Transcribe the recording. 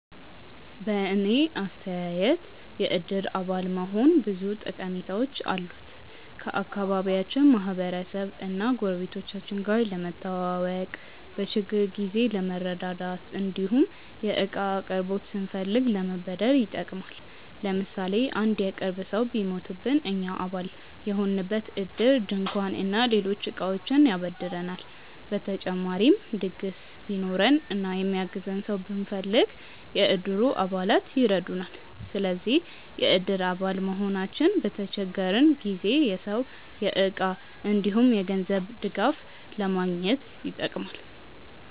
በእኔ አስተያየት የእድር አባል መሆን ብዙ ጠቀሜታዎች አሉት። ከአካባቢያችን ማህበረሰብ እና ጎረቤቶቻችን ጋር ለመተዋወቅ፣ በችግር ጊዜ ለመረዳዳት እንዲሁም የእቃ አቅርቦት ስንፈልግ ለመበደር ይጠቅማል። ለምሳሌ አንድ የቅርብ ሰው ቢሞትብን እኛ አባል የሆንበት እድር ድንኳን እና ሌሎች እቃዎችን ያበድረናል። በተጨማሪም ድግስ ቢኖረን እና የሚያግዘን ሰው ብንፈልግ፣ የእድሩ አባላት ይረዱናል። ስለዚህ የእድር አባል መሆናችን በተቸገረን ጊዜ የሰው፣ የእቃ እንዲሁም የገንዘብ ድጋፍ ለማግኘት ይጠቅማል።